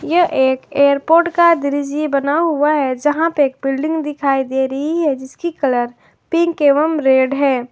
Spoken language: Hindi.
यह एक एयरपोर्ट का दृश्य बना हुआ है जहां पे बिल्डिंग दिखाई दे रही है जिसकी कलर पिंक एवं रेड है।